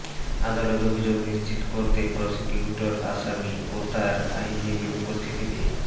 আদালত অভিযোগ নিশ্চিত করতে প্রসিকিউটর আসামি ও তার আইনজীবীর উপস্থিতিতে